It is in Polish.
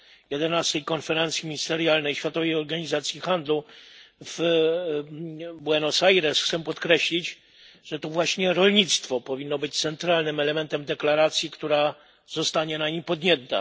11. Konferencji Ministerialnej Światowej Organizacji Handlu w Buenos Aires, chciałbym podkreślić, że to właśnie rolnictwo powinno być centralnym elementem deklaracji, która zostanie na niej podjęta.